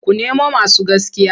Ku nemo masu gaskiya!